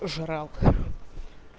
жрал